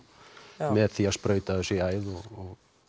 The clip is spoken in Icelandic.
áðan með því að sprauta þessu í æð og